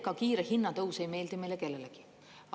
Ega kiire hinnatõus ei meeldi meile kellelegi.